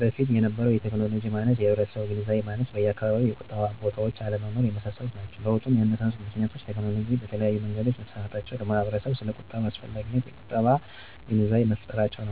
በፊት የነበረው የቴክኖሎጂ ማነስ፣ የህብረተሰቡ የግንዛቤ ማነስ፣ በየአካባቢው የቁጠባ ቦታዎች አለመኖር የመሳሰሉት ናቸው። ለውጡን ያነሳሱት ምክንያቶች፦ ቴክኖሎጅ በተለያዩ መንገዶች መስፋፋታቸው፣ ለማህበረሰቡ ስለቁጠባ አስፈላጊነቱን የቁጠባ ባለሙያዎች ግንዛቤ መፍጠራቸው፣